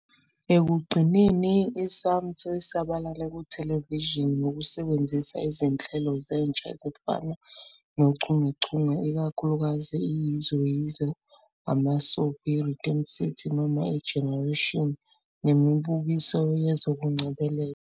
Ekugcineni, i-Iscamtho isabalale kuthelevishini, ngokusebenzisa izinhlelo zentsha ezifana nochungechunge, ikakhulukazi "iYizo Yizo", ama-soapie, "iRhythm City" noma "iGenerations", nemibukiso yezokungcebeleka.